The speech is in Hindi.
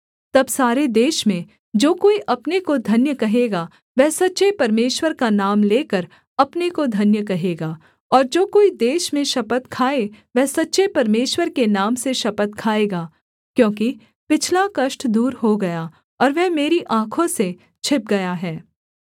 तब सारे देश में जो कोई अपने को धन्य कहेगा वह सच्चे परमेश्वर का नाम लेकर अपने को धन्य कहेगा और जो कोई देश में शपथ खाए वह सच्चे परमेश्वर के नाम से शपथ खाएगा क्योंकि पिछला कष्ट दूर हो गया और वह मेरी आँखों से छिप गया है